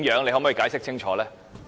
你可否解釋清楚？